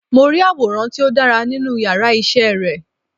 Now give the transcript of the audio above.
Mo rí àwòrán tí ó dára nínú yàrá isé re